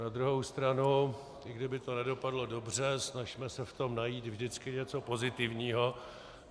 Na druhou stranu, i kdyby to nedopadlo dobře, snažme se v tom najít vždycky něco pozitivního.